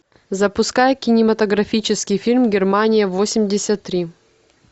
запускай кинематографический фильм германия восемьдесят три